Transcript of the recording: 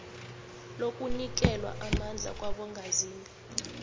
lokunikelwa amandla kwabongazimbi